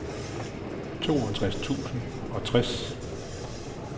toogtres tusind og tres